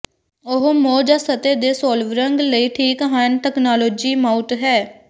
ਉਹ ਮੋਹ ਜ ਸਤਹ ਦੇ ਸੋਲਿਵਰੰਗ ਲਈ ਠੀਕ ਹਨ ਤਕਨਾਲੋਜੀ ਮਾਊਟ ਹੈ